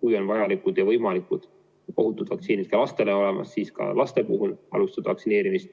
Kui on vajalikud ja ohutud vaktsiinid ka lastele olemas, siis saab alustada ka laste vaktsineerimist,